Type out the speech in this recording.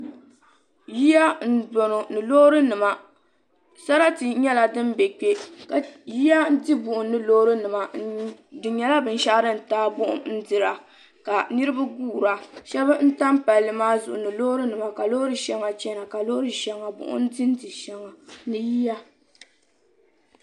Yiya m boŋɔ ni loori nima sarati nyɛla din be kpe yiya n di buɣum ni loori nima di nyɛla bin shɛɣu din taagi buɣum n dira ka niriba guura shɛba n tam palli maa zuɣu ni loori nima ka loori shɛŋa chana ka loori shɛŋa buɣum ka buɣum dindi shɛŋa ni yiya.